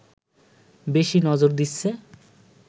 বেশি নজর দিচ্ছে